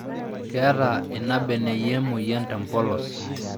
Keeta ina beneyio emoyian tempolos